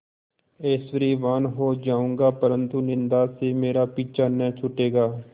ऐश्वर्यवान् हो जाऊँगा परन्तु निन्दा से मेरा पीछा न छूटेगा